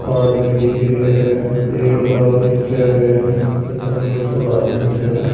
आदमी दिख रिया है पेड़ लाग रख्या है त तन्नो सो लाग रख्यो हैं।